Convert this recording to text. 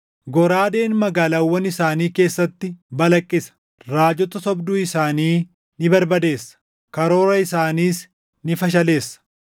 Goraadeen magaalaawwan isaanii keessatti balaqqisa; raajota sobduu isaanii ni barbadeessa; karoora isaaniis ni fashaleessa.